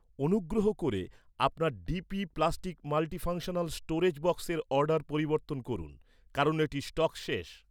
অনুগ্রহ করে, আপনার ডিপি প্লাস্টিক মাল্টিফাংশানাল স্টোরেজ বক্সের অর্ডার পরিবর্তন করুন, কারণ এটির স্টক শেষ